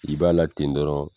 I b'a la ten dɔrɔn.